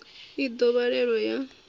i ḓo vhalelwa u ya